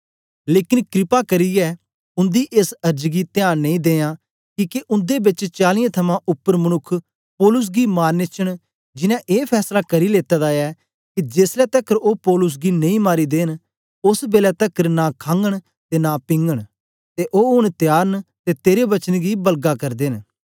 लेकन कृपा करियै उन्दी एस अर्ज गी त्यांन नेई दियो किके उन्दे बेच चालीयें थमां उपर मनुक्ख पौलुस गी मारने च न जिनैं ए फैसला करी लेता दा ऐ के जेसलै तकर ओ पौलुस गी नेई मारी देंन ओस बेलै तकर नां खागन ते नां पिगन ते ओ ऊन त्यार न ते तेरे वचन गी बलगा करदे न